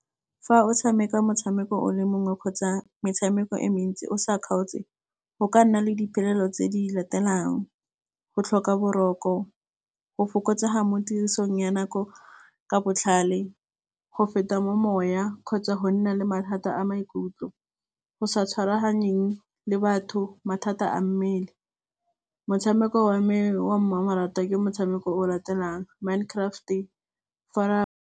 Fa o tshameka motshameko o le mongwe kgotsa metshameko e mentsi o sa kgaotse, go ka nna le diphelelo tse di latelang. Go tlhoka boroko go fokotsega mo tirisong ya nako ka botlhale, go feta mo moya kgotsa go nna le mathata a maikutlo. Go sa tshwaraganeng le batho mathata a mmele, motshameko wa me wa mmamoratwa ke motshameko o o latelang Mine Craft .